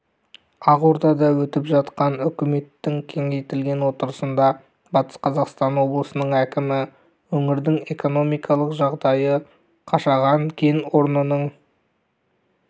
ақордада өтіп жатқан үкіметтің кеңейтілген отырысында батыс қазақстан облысының әкімі өңірдің экономикалық жағдайы қашаған кен орнының